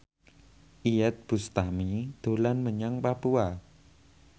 Iyeth Bustami dolan menyang Papua